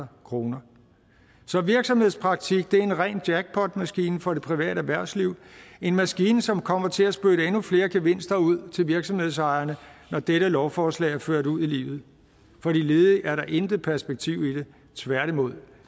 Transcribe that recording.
kroner så virksomhedspraktik er en ren jackpotmaskine for det private erhvervsliv en maskine som kommer til at spytte endnu flere gevinster ud til virksomhedsejerne når dette lovforslag er ført ud i livet for de ledige er der intet perspektiv i det tværtimod